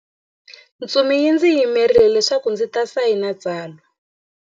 Ntsumi yi ndzi yimerile leswaku ndzi ta sayina tsalwa.